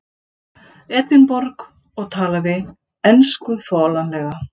Edinborg og talaði ensku þolanlega.